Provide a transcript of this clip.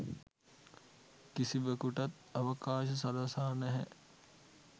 කිසිවකුටත් අවකාශ සලසා නැහැ